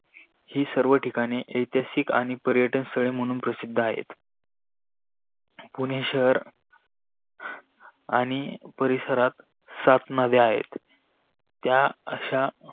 ही सर्व ठिकाणे इतिहासक आणि पर्यटन स्थळे म्हणून प्रसिद्ध आहे. पुणे शहर आणि परिसरात सात नद्य आहे. त्या आशा